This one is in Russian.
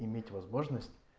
иметь возможность